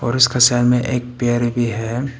और उसका सामने एक पेड़ भी है।